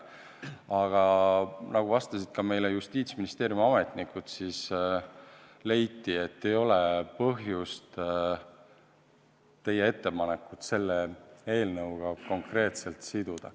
Aga nagu vastasid meile ka Justiitsministeeriumi ametnikud, ei ole põhjust teie ettepanekut konkreetselt selle eelnõuga siduda.